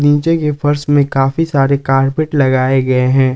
नीचे के फर्श में काफी सारे कारपेट लगाए गए हैं।